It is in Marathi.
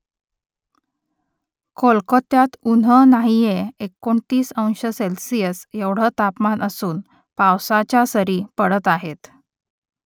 कोलकात्यात ऊन्ह नाहीये एकोणतीस अंश सेल्सिअस एवढं तापमान असून पावसाच्या सरी पडत आहेत